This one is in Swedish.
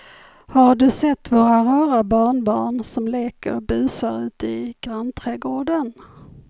Har du sett våra rara barnbarn som leker och busar ute i grannträdgården!